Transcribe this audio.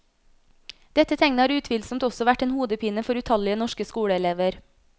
Dette tegnet har utvilsomt også vært en hodepine for utallige norske skoleelever.